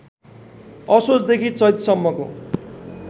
असोजदेखि चैतसम्मको